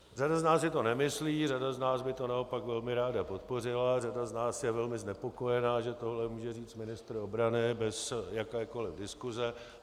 Řada z nás si to nemyslí, řada z nás by to naopak velmi ráda podpořila, řada z nás je velmi znepokojena, že tohle může říct ministr obrany bez jakékoli diskuse.